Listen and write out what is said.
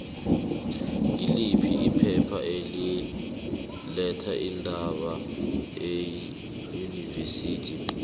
ngiliphi iphepha eli letha iindaba eunivesithi yepitori